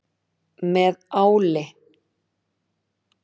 Með áli.